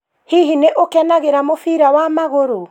Hĩhĩ nĩ ũkenagĩra mũbira wa magũrũ?